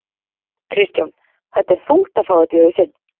Kristján: Þetta er þungt að fá þetta í hausinn?